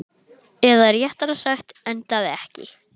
Eða réttara sagt, endaði ekki.